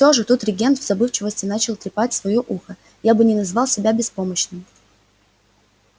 и всё же тут регент в забывчивости начал трепать своё ухо я бы не назвал себя беспомощным